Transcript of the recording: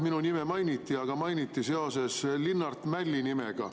Minu nime mainiti, aga mainiti seoses Linnart Mälli nimega.